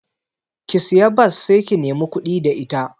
Ki siya bas sai ki nemi kuɗi da ita